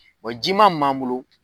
Wa ji ma min m'an bolo